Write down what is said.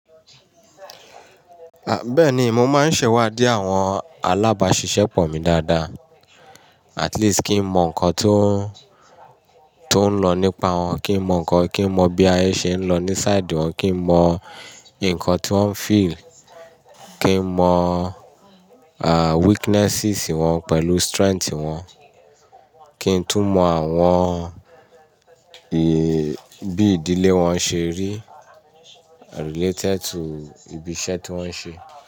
Bẹ́ẹ̀ni, mo máa ń ṣẹ́wádi àwọn alábáṣiṣẹ́pọ̀ mi dáadáa. At least kí n mọ̀ nǹkan tó, tó ń lọ nípa wọn, kí n mọ̀ nǹkan, kí n mọ̀ bí ayé ṣe ń lọ ní side wọn, kí n mọ̀ ǹkan tí wọ́n feel, kí n mọ̀, à, weaknesses wọn pẹ̀lú strength wọn. Kí n tún mọ̀ àwọn, ì, bí ìdílé wọn ṣe rí related to ibi iṣẹ́ tí wọ́n ń ṣe.